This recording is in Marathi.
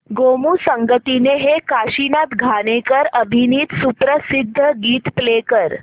गोमू संगतीने हे काशीनाथ घाणेकर अभिनीत सुप्रसिद्ध गीत प्ले कर